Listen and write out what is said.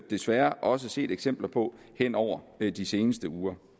desværre også set eksempler på hen over de seneste uger